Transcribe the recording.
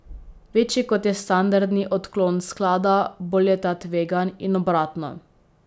Večji kot je standardni odklon sklada, bolj je ta tvegan in obratno.